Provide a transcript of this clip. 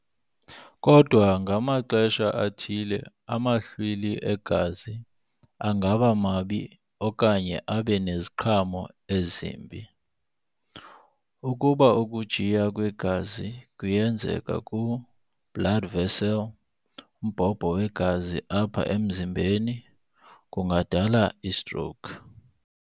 Kodwa ngamaxesha athile amahlwili egazi angaba mabi okanye abe neziqhamo ezimbi. Ukuba ukujiya kwegazi kuyenzeka ku[blood vessel|mbhobho wegazi apha emzimbeni, kungadala istroke.